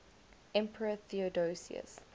emperor theodosius